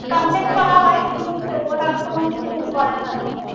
কিন্তু ওরা কোনো কিছু করে না